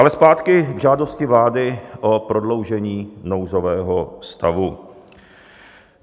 Ale zpátky k žádosti vlády o prodloužení nouzového stavu.